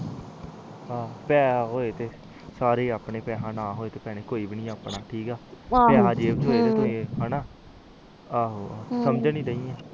ਆਹੋ ਪੈਸੇ ਹੋਏ ਤੇ ਸਾਰੇ ਏ ਆਪਣੇ ਜਹੇ ਪੈਸੇ ਹੋਏ ਨਹੀਂ ਤਾ ਕੋਈਬੀ ਨੀ ਆਪਣਾ ਸਮਝਣ ਹੀ ਦੈ ਆ ਤੂੰ